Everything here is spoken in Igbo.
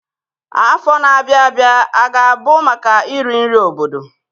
Afọ na-abịa abịa a ga-abụ maka iri nri obodo?